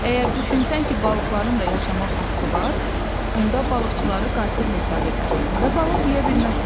Əgər düşünsən ki, balıqların da yaşamaq haqqı var, onda balıqçıları qatil hesab edərsən və balıq yeyə bilməzsən.